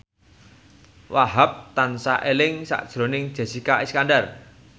Wahhab tansah eling sakjroning Jessica Iskandar